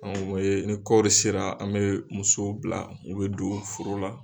ni kɔɔri sera an bɛ musow bila, u bɛ don foro la.